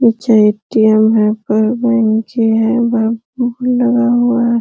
नीचे A T M है। ऊपर बेंचे हैं। भी लगा हुआ है।